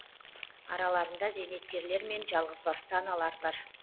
араларында зейнеткерлер мен жалғызбасты аналар бар